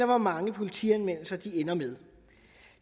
hvor mange politianmeldelser de ender med